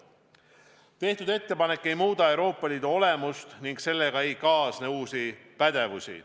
Tehtud ettepanek ei muuda Euroopa Liidu olemust ja sellega ei kaasne uusi pädevusi.